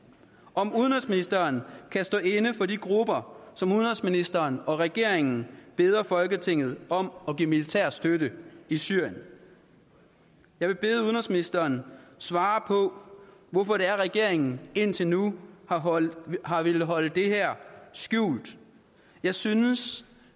om udenrigsministeren kan stå inde for de grupper som udenrigsministeren og regeringen beder folketinget om at give militær støtte i syrien jeg vil bede udenrigsministeren svare på hvorfor det er at regeringen indtil nu har villet holde det her skjult jeg synes